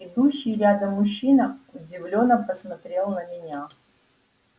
идущий рядом мужчина удивлённо посмотрел на меня